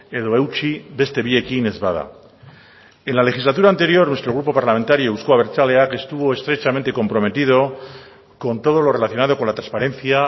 edo eutsi beste biekin ez bada en la legislatura anterior nuestro grupo parlamentario euzko abertzaleak estuvo estrechamente comprometido con todo lo relacionado con la transparencia